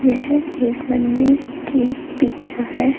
यह एक मंदिर की पिक्चर है।